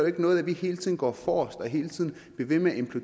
ikke noget at vi hele tiden går forrest og hele tiden bliver ved med